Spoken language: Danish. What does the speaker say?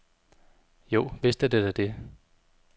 Jo, vist er det da det.